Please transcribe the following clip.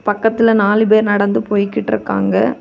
பக்கத்துல நாலு பேர் நடந்து போய்கிட்ருக்காங்க.